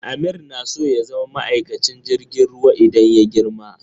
Amir na so ya zama maikacin jirgin ruwa idan ya girma.